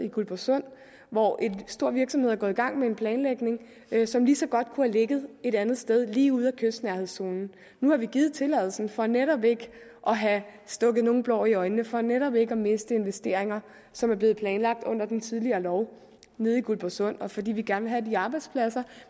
guldborgsund hvor en stor virksomhed er gået i gang med en planlægning som lige så godt kunne have ligget et andet sted lige ude af kystnærhedszonen nu har vi givet tilladelsen for netop ikke at have stukket nogen blår i øjnene for netop ikke at miste investeringer som er blevet planlagt under den tidligere lov nede i guldborgsund og fordi vi gerne vil have de arbejdspladser